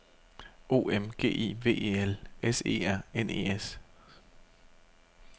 O M G I V E L S E R N E S